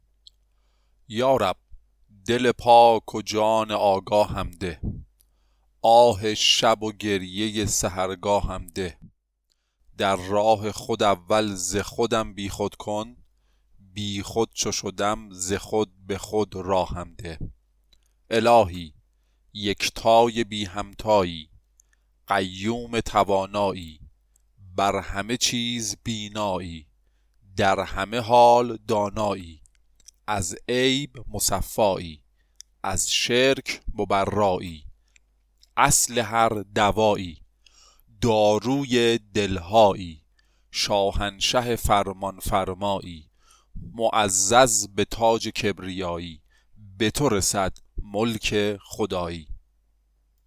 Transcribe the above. یا رب دل پاک و جان آگاهم ده آه شب و گریه سحرگاهم ده در راه خود اول ز خودم بی خود کن بی خود چو شدم ز خود به خود راهم ده الهی یکتای بی همتایی قیوم توانایی بر همه چیز بینایی در همه حال دانایی از عیب مصفایی از شرک مبرایی اصل هر دوایی داروی دل هایی شاهنشاه فرمان فرمایی معزز به تاج کبریایی به تو رسد ملک خدایی